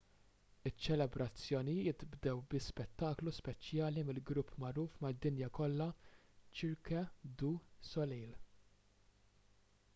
iċ-ċelebrazzjonijiet bdew bi spettaklu speċjali mill-grupp magħruf mad-dinja kollha cirque du soleil